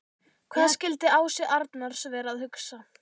Hvað skildi Ási Arnars vera að hugsa?